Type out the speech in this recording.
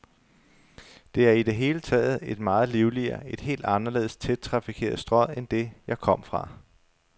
Det er i det hele taget et meget livligere, et helt anderledes tæt trafikeret strøg end det, jeg kom fra.